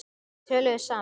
Þau töluðu saman.